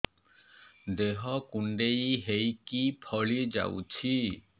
ଦେହ କୁଣ୍ଡେଇ ହେଇକି ଫଳି ଯାଉଛି